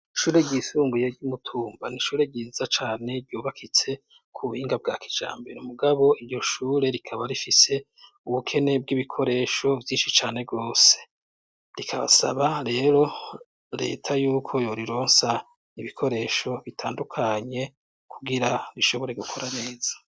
Ishure ryisunguye ryi Mutumba n'ishure ryiza cane ryubakitse ku buhinga bwa kijambero mugabo iryo shure rikaba rifise ubukene bw'ibikoresho vyinshi cane rwose, rikabasaba rero reta yuko yorirosa ibikoresho bitandukanye kugira rishobore gukora neza.